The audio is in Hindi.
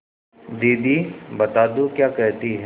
दीदी बता दो क्या कहती हैं